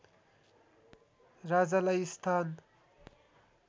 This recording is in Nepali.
राजालाई स्थान